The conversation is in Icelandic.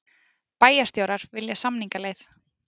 Bæjarstjórar vilja samningaleið